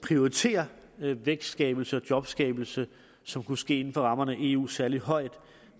prioriterer vækstskabelse og jobskabelse som kunne ske inden for rammerne af eu særlig højt og